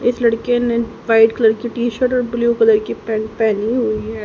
इस लड़के ने व्हाइट कलर की टी शर्ट और ब्ल्यू कलर की पैंट पहनी हुई है।